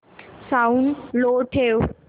sound लो ठेव